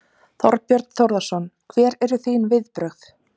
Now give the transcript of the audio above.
Þorbjörn Þórðarson: Hver eru þín viðbrögð?